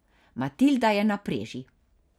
Matilda je na preži.